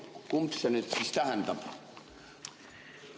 " Kumba see nüüd siis tähendab?